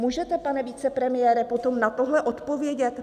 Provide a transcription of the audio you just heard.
Můžete, pane vicepremiére, potom na tohle odpovědět?